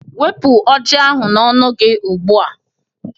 Wepu oji ahu n'ọnụ gị ugbu a